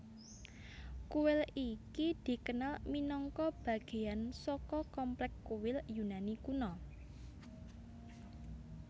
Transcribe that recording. Kuil iki dikenal minangka bageyan saka komplek kuil Yunani kuno